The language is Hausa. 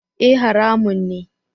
E! haramun ne.